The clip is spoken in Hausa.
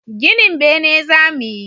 Ginin bene za mu yi